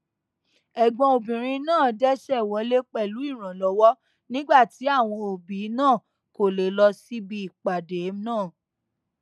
ẹgbọn obìnrin náà dẹsẹ wọlé pẹlú ìrànlọwọ nígbà tí àwọn òbí náà kò lè lọ síbi ìpàdé náà